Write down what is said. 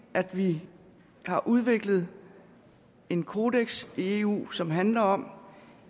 at vi har udviklet en kodeks i eu som handler om